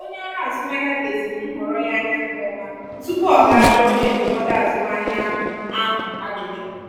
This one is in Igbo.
onye ọrụ azụmahịa leziri nhọrọ ya anya nke ọma tupu ọ ga jụọ onye ndụmọdụ azụmahịa ahụ ahụ ajụjụ.